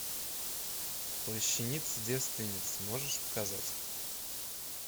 плащаница девственницы можешь показать